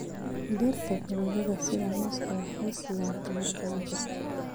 Dhirta fruitada sida mooska waxay siiyaan tamar badan jirka.